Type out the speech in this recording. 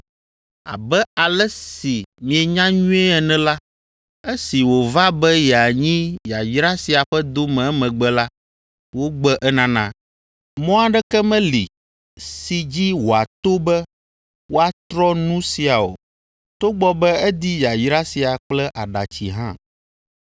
Abe ale si mienya nyuie ene la, esi wòva be yeanyi yayra sia ƒe dome emegbe la, wogbe enana. Mɔ aɖeke meli si dzi wòato be woatrɔ nu sia o, togbɔ be edi yayra sia kple aɖatsi hã.